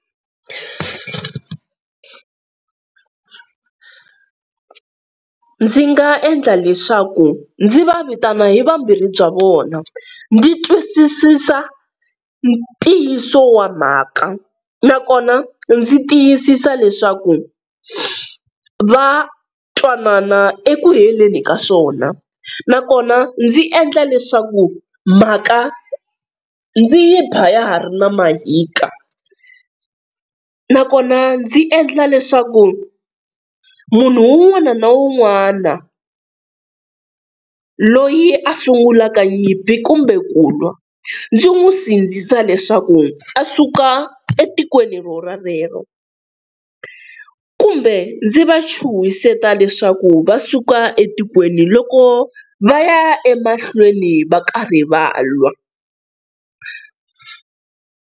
Ndzi nga endla leswaku ndzi va vitana hi vambirhi bya vona ndzi twisisisa ntiyiso wa mhaka, nakona ndzi tiyisisa leswaku va twanana eku heleni ka swona, nakona ndzi endla leswaku mhaka ndzi yi ba ya ha ri na mahika, nakona ndzi endla leswaku munhu un'wana na un'wana loyi a sungulaka nyimpi kumbe ku lwa ndzi n'wi sindzisa leswaku a suka etikweni ro rolero, kumbe ndzi va chuhiseta leswaku va suka etikweni loko va ya emahlweni va karhi va lwa.